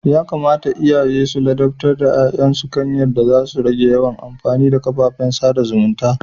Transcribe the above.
Yakamata iyaye su ladabtar da ya'yan su kan yadda za su rage yawan amfani da kafafen sada zumunta.